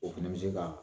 O fɛnɛ bɛ se ka